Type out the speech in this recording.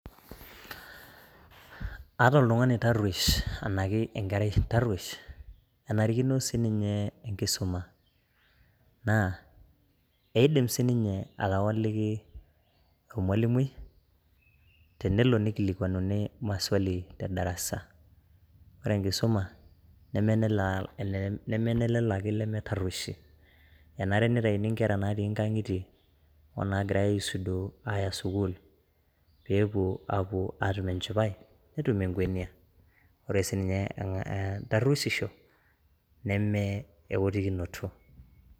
Ata oltungani oitaroshi anaake enkerai taroshi enarikino si ninye enkisuma naa eidim si ninye atawoliki olwalimui tenelo neikilikuanini maswali te darasa ore enkisuma nemee ne lelo ake lemeitaroshi, enare neitaini inkera natii inkang'itie o naagirai aisudoo aya sukuul peepo aapo aatum enchipai netum enkwenia ,ore si ninye enkaroishisho nemee oalokinoto.